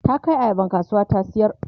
ta Kai ayaban kasuwa ta sayar